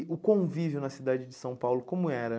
E o convívio na cidade de São Paulo, como era?